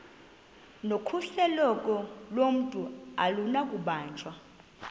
nokhuseleko lomntu akunakubanjwa